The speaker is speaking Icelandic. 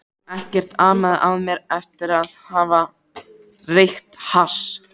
Ekkert amaði að mér eftir að hafa reykt hass.